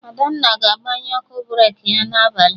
Adanna ga-agbanye ọkụ breki ya na abalị